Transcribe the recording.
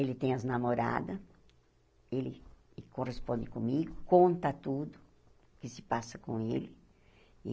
Ele tem as namorada, ele corresponde comigo, conta tudo que se passa com ele.